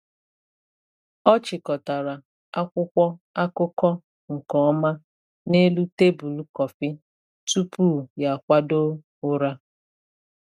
Ọ chịkọtara akwụkwọ akụkọ nke ọma n’elu tebụl kọfị tupu ya akwado ụra.